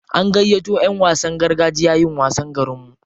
An gayyato ƴan wasan gargajiya yin wasa garinmu.